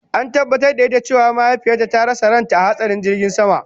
An tabatar da ita cewa mahaifiyarta ta rasa ranta a hatsarin jirgin sama